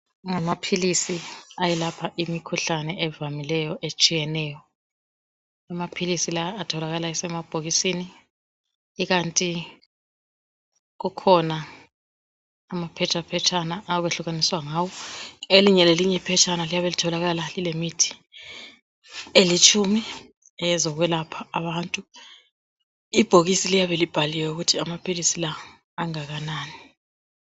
Ngamaphilisi ayelapha imikhuhlane evamileyo etshiyeneyo , amaphilisi lawa atholakala esemabhokisini ikanti kukhona amaphetshaphetshana okwehlukaniswa ngawo , elinye lelinye iphetshana liyabe kutholakala lilemithi elitshumi eyozokwelapha abantu , ibhokisi liyabe libhaliwe ukuthi amaphilisi la angakanani